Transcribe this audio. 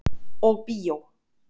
Og bíó